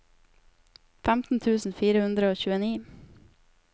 femten tusen fire hundre og tjueni